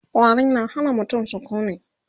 ƙwari na Hana mutum sukuni